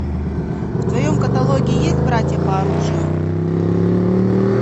в твоем каталоге есть братья по оружию